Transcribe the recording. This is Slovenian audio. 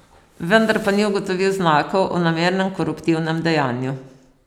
Vendar pa ni ugotovil znakov o namernem koruptivnem dejanju.